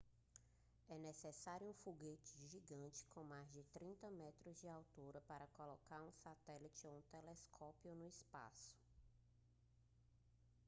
é necessário um foguete gigante com mais de 30 metros de altura para colocar um satélite ou telescópio no espaço